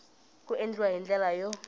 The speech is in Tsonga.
ku endliwa hi ndlela yo